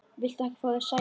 Viltu ekki fá þér sæti?